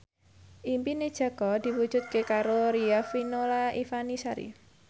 impine Jaka diwujudke karo Riafinola Ifani Sari